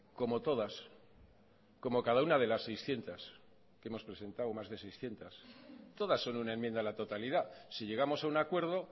como todas como cada una de las seiscientos que hemos presentado más de seiscientos todas son una enmienda a la totalidad si llegamos a un acuerdo